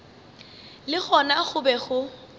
le gona go be go